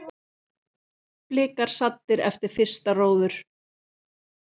Blikar saddir eftir fyrsta róður?